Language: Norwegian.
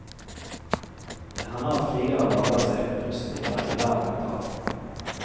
Det hender at krigere lager seg rustninger i lær og metall.